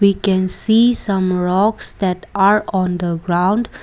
we can see some rocks that are on the ground.